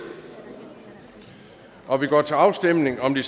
og vi går til afstemning om de